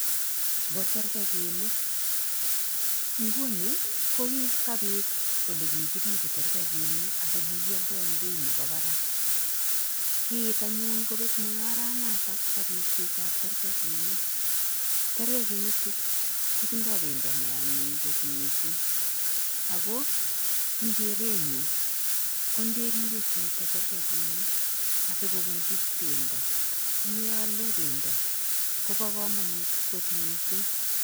Chu ko tarkakenik, nguni kokikapit ole kikiripei tarkakinik ak kikioldoi eng beit nebo barak. Kiit anyun kopet mungararnata bo ripsetab tarkakinik, tarkakinichu kotindoi pendo ne anyiny kot mising ako eng kerenyun ko nderipe chito terkekinik chuto asikopunchi pendo, asimeale pendo kobo kamanut kot mising.